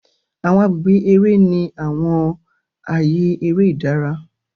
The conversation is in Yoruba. Awọn agbègbè eré ní àwọn ààyè eré ìdára.